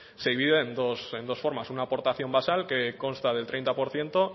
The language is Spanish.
se divide en dos formas una aportación basal que consta del treinta por ciento